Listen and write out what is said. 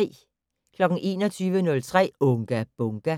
21:03: Unga Bunga!